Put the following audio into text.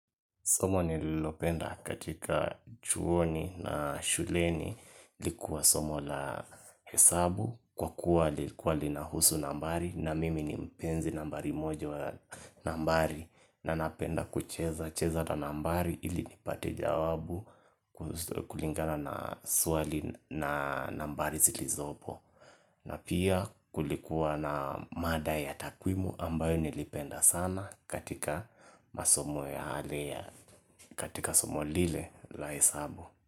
Somo nililopenda katika chuoni na shuleni ilikuwa somo la hesabu kwa kuwa ilikuwa lina husu nambari na mimi ni mpenzi nambari moja nambari na napenda kucheza cheza na nambari ili nipate jawabu kulingana na swali na nambari zilizopo. Na pia kulikuwa na mada ya takwimu ambayo nilipenda sana katika masomo yale ya katika somo lile la hesabu.